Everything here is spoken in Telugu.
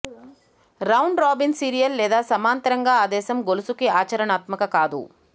రౌండ్ రాబిన్ సీరియల్ లేదా సమాంతరంగా ఆదేశం గొలుసుకి ఆచరణాత్మక కాదు